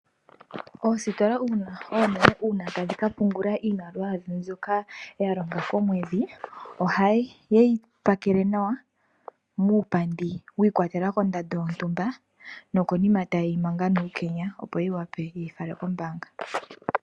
Oositola oonene uuna tadhi ka pungula iimaliwa yadho mbyoka ya longa komwedhi, ohaye yi pakele nawa muupandi wiikwatelela kondando yontumba nokonima taye yi manga nuukenya opo yi wape ye yi fale kombaanga.